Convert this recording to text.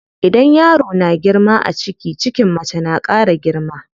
Idan yaro na girma a ciki, cikin mace na ƙara girma.